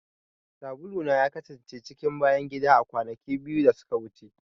Sabula na ya kasance cikin bayan gida a kwanaki biyu da suka wuce.